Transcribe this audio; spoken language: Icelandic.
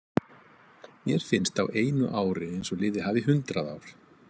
Mér finnst á einu ári eins og liðið hafi hundrað ár.